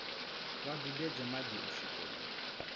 vha dudedze madi u swikela